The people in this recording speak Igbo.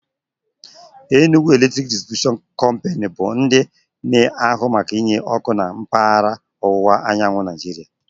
Enugwu Eletrik Disitribushion Kompanu bụ ndị na ahụ maka enye ọkụ na mkpaghara ọwụwa anyanwụ Naịjiria